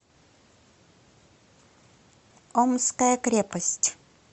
омская крепость